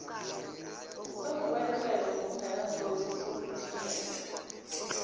sekungubuwelewele nokungenadosi sekutinyela